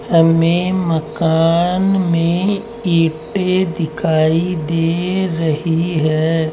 हमें मकान में ईंटे दिखाई दे रही है।